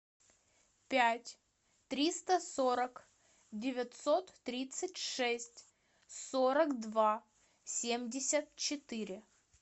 пять триста сорок девятьсот тридцать шесть сорок два семьдесят четыре